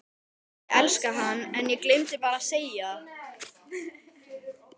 Ég elskaði hann en ég gleymdi bara að segja það.